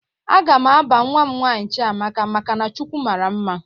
A ga m aba nwa m nwaanyị Chiamaka maka na "Chukwu mara mma"